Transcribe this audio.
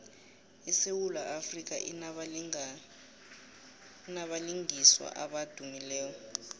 isewula afrika inabalingiswa abadumileko